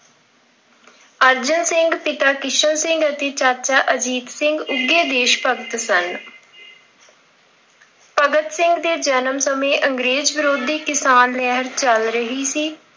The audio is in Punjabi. ਅਰਜਨ ਸਿੰਘ, ਪਿਤਾ ਕਿਸ਼ਨ ਸਿੰਘ ਅਤੇ ਚਾਚਾ ਅਜੀਤ ਸਿੰਘ ਉੱਘੇ ਦੇਸ਼ ਭਗਤ ਸਨ। ਭਗਤ ਸਿੰਘ ਦੇ ਜਨਮ ਸਮੇਂ ਅੰਗਰੇਜ਼ ਵਿਰੋਧੀ ਕਿਸਾਨ ਲਹਿਰ ਚੱਲ ਰਹੀ ਸੀ।